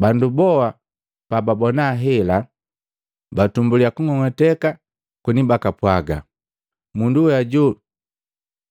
Bandu boa pababona hela, batumbuliya kung'ong'ateka koni bakapwaga, “Mundu we hoju